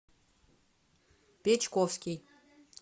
печковский